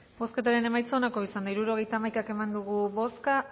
bozketaren emaitza onako izan da hirurogeita hamaika eman dugu bozka